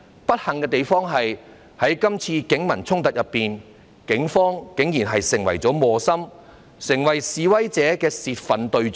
不幸的是，在這次警民衝突中，警方竟然成為磨心，成為示威者的泄憤對象。